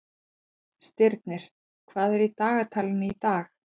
Stirnir, hvað er í dagatalinu í dag?